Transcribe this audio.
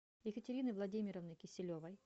екатерины владимировны киселевой